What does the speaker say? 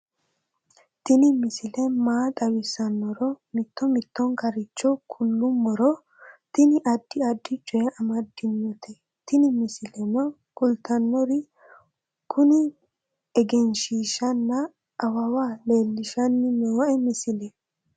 tini misile maa xawissannoro mito mittonkaricho kulummoro tini addi addicoy amaddinote tini misileno kultannori kuni egenshshishanna awawa leellishanni nooe misile